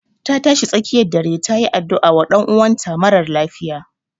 Ta tashi tsakiyar dare ta yi addu'a wa ɗan'uwan ta marar lafiya